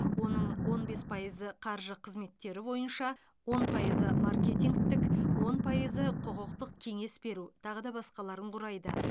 оның он бес пайызы қаржы қызметтері бойынша он пайызы маркетингтік он пайызы құқықтық кеңес беру тағы да басқаларын құрайды